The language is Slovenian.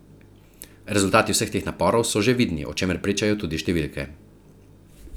Rezultati vseh teh naporov so že vidni, o čemer pričajo tudi številke.